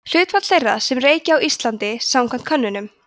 hlutfall þeirra sem reykja á íslandi samkvæmt könnunum